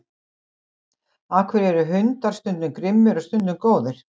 Af hverju eru hundar stundum grimmir og stundum góðir?